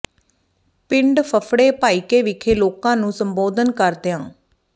ਪਿੰਡ ਫਫੜੇ ਭਾਈਕੇ ਵਿਖੇ ਲੋਕਾਂ ਨੂੰ ਸੰਬੋਧਨ ਕਰਦਿਆਂ ਡਾ